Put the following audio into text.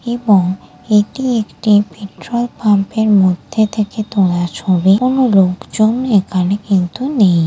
এবং এটি একটি পেট্রোল পাম্পের মধ্যে থেকে তোলা ছবি কোনো লোকজন এখানে কিন্তু নেই।